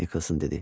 Nikolson dedi.